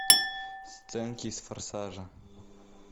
сценки из форсажа